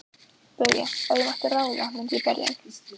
BAUJA: Ef ég mætti ráða myndi ég berja hann.